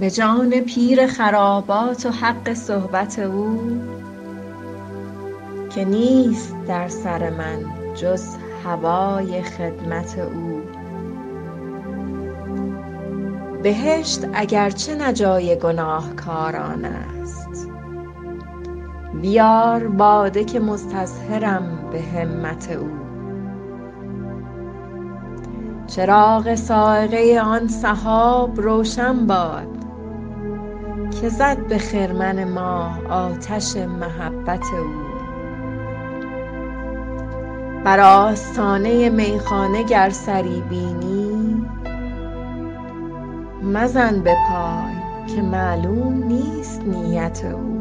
به جان پیر خرابات و حق صحبت او که نیست در سر من جز هوای خدمت او بهشت اگر چه نه جای گناهکاران است بیار باده که مستظهرم به همت او چراغ صاعقه آن سحاب روشن باد که زد به خرمن ما آتش محبت او بر آستانه میخانه گر سری بینی مزن به پای که معلوم نیست نیت او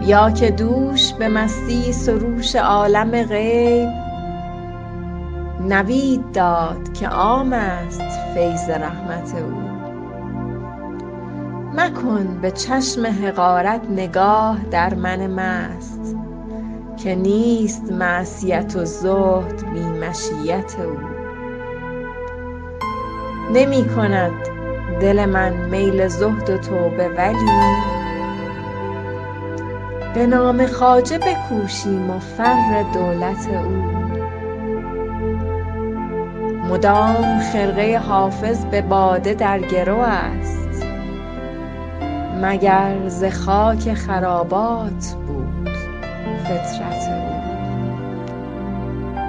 بیا که دوش به مستی سروش عالم غیب نوید داد که عام است فیض رحمت او مکن به چشم حقارت نگاه در من مست که نیست معصیت و زهد بی مشیت او نمی کند دل من میل زهد و توبه ولی به نام خواجه بکوشیم و فر دولت او مدام خرقه حافظ به باده در گرو است مگر ز خاک خرابات بود فطرت او